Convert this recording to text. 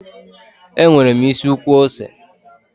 E nwere isi ukwu ose.